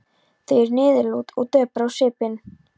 Þau eru niðurlút og döpur á svipinn.